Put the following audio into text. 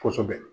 Kosɛbɛ